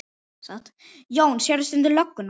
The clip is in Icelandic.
Jón: Sérðu stundum lögguna?